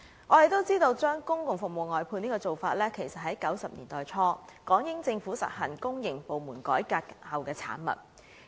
眾所周知，將公共服務外判的做法，是1990年代初港英政府實行公營部門改革後的產物。